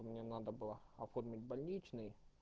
мне надо было оформить больничный